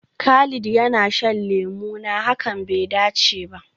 Khalid yana shan lemuna, hakan bai dace ba.